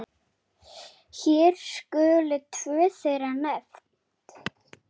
Hér skulu tvö þeirra nefnd.